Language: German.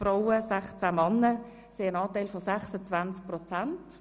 Frauen haben somit einen Anteil von 26 Prozent.